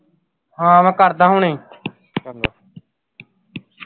ਹਾਂ ਮੈਂ ਕਰਦਾ ਹੁਣੇ